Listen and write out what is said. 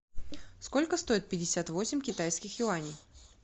сколько стоит пятьдесят восемь китайских юаней